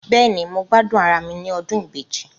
Bẹ́ẹ̀ni, mo gbádùn ara mi ní ọdún ibeji